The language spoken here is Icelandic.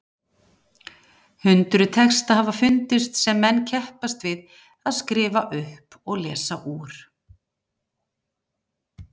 Hundruð texta hafa fundist sem menn keppast við að skrifa upp og lesa úr.